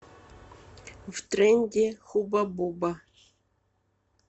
втренде хуба буба